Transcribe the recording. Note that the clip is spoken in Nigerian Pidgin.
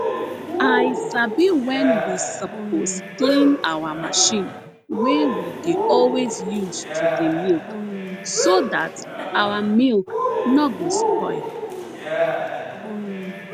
i sabi wen we suppose clean our machine wey we dey always use to dey milk so dat our milk no go spoil